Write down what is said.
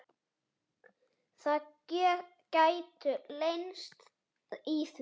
Það gætu leynst í því.